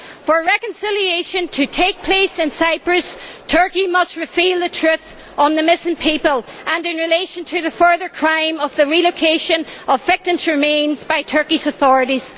For reconciliation to take place in Cyprus, Turkey must reveal the truth about the missing people and in relation to the further crime of the relocation of victims' remains by the Turkish authorities.